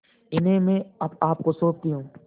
इन्हें मैं आपको सौंपती हूँ